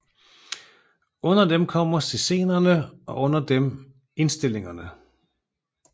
Under dem kommer scenerne og under dem indstillingerne